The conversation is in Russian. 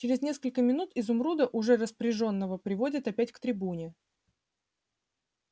через несколько минут изумруда уже распряжённого приводят опять к трибуне